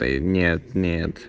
нет нет